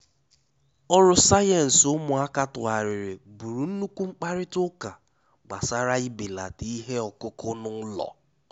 Ọrụ sayensị ụmụaka tūghàrịrị bụrụ nnukwu mkparịta ụka gbasara ibelata ihe ọkụkụ n’ụlọ.